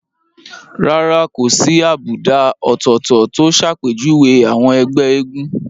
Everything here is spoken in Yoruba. Rárá kò sí àbùdá ọ̀tọ̀ọ̀tọ̀ tó ṣàpèjúwe àwọn ẹgbẹ́ eégún